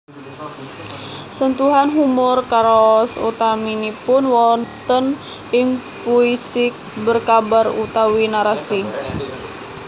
Sentuhan humor karaos utaminipun wonten ing puisi berkabar utawi narasi